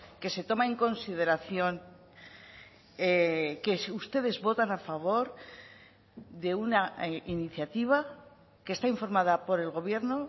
que se toma en consideración que ustedes votan a favor de una iniciativa que está informada por el gobierno